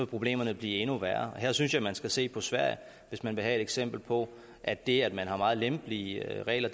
problemerne blive endnu værre her synes jeg at man skal se på sverige hvis man vil have et eksempel på at det at man har meget lempelige regler